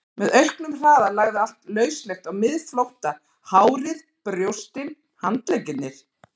Með auknum hraða lagði allt lauslegt á miðflótta, hárið, brjóstin, handleggirnir.